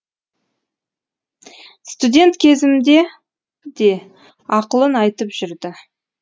студент кезімде де ақылын айтып жүрді